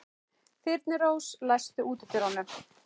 Þyrnirós, læstu útidyrunum.